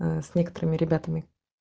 а с некоторыми ребятами